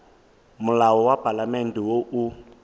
molao wa palamente wo o